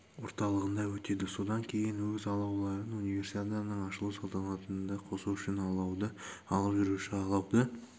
орталығында өтеді содан кейін өз алауларын универсиаданың ашылу салтанатында қосу үшін алауды алып жүруші алауды